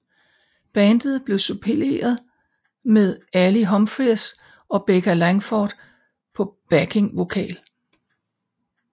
Bandet blev suppleret med Ali Humphries og Becca Langsford på backing vokal